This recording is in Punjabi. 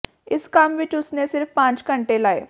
ਇਸ ਕੰਮ ਵਿੱਚ ਉਸ ਨੇ ਸਿਰਫ਼ ਪੰਜ ਘੰਟੇ ਲਾਏ